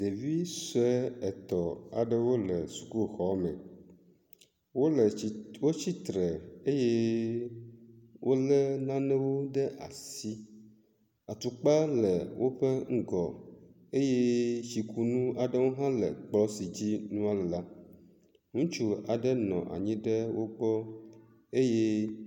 ɖevisoe etɔ̃ aɖewo le sukuxɔme wóle tsi wó tsítre eye wóle nanewo ɖe asi, atukpa le wóƒe ŋgɔ eye tsikunu aɖewo hã le kplɔ si dzi nua le la, nutsu aɖe nɔ anyi ɖe wogbɔ eyɛ